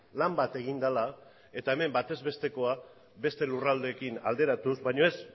lan bat egin dela eta hemen bataz bestekoa beste lurraldeekin alderatuz baina ez